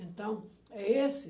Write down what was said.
Então, é esse.